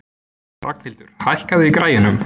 Ragnhildur, hækkaðu í græjunum.